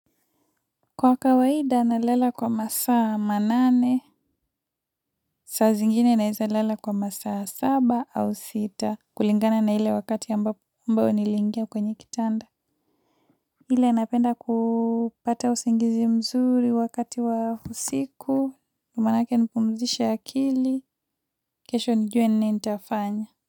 Kwa kawaida na lala kwa masaa manane, saa zingine naweza lela kwa masaa saba au sita. Kulingana na ile wakati ambao niliingia kwenye kitanda. Ile napenda kupata usingizi mzuri wakati wa usiku. Ndio maanake nipumzishe akili. Kesho nijue nini nitafanya.